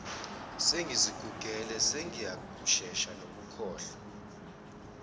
sengizigugele sengiyashesha nokukhohlwa